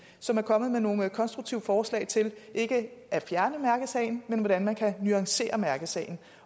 som er kommet med nogle konstruktive forslag til ikke at fjerne mærkesagen men til hvordan man kan nuancere mærkesagen